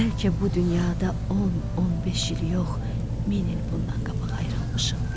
Bəlkə bu dünyada 10-15 il yox, min il bundan qabaq ayrılmışıq biz.